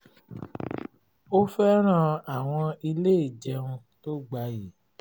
ó fẹ́ràn àwọn ilé ìjẹun tó gbayì